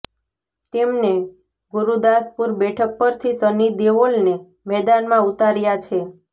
તેમને ગુરદાસપુર બેઠક પરથી સની દેઓલને મેદાનમાં ઉતાર્યા છે